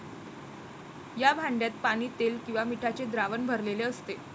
या भांड्यात पाणी, तेल किंवा मिठाचे द्रावण भरलेले असते.